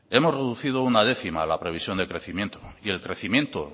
hemos reducido una décima la previsión de crecimiento y el crecimiento